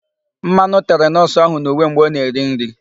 Mmanụ tere nọọsụ ahụ n'uwe mgbe ọ na-eri nri.